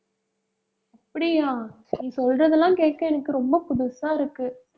அப்படியா? நீ சொல்றதெல்லாம் கேட்க எனக்கு ரொம்ப புதுசா இருக்கு.